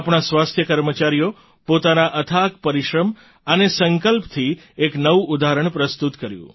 આપણા સ્વાસ્થ્ય કર્મચારીઓએ પાતના અથાક પરિશ્રમ અને સંકલ્પથી એક નવું ઉદાહરણ પ્રસ્તુત કર્યું